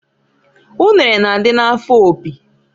Unere na-adị n'afọ Opi.